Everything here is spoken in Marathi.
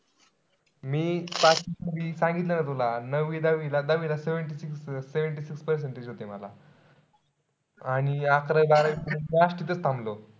मी मी सांगितलं ना तुला. नववी-दहावी. दहावीला seventy six-seventy six होते मला. आणि अकरावी-बारावी थांबलो.